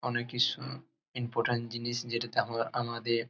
অনেক কিছু ইম্পর্টেন্ট জিনিস যেটাতে আমরা আমাদের--